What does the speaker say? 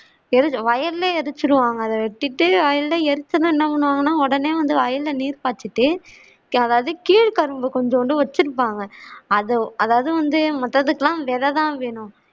வயலே எரிச்சிடுவாங்க அதை வெட்டிட்டு வயல்ல எரிச்சி என்ன பண்ணுவாங்கன்னா உடனே வந்து வயல்ல நீர் பாச்சிட்டு யாராவது கீழ்கரம்பு கொஞ்ஜோண்டு வச்சிருப்பாங்க அத அதாவது வந்து மற்றத்துக்கு எல்லாம் வேற தான் வேணும்